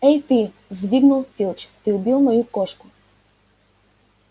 эй ты взвизгнул филч ты убил мою кошку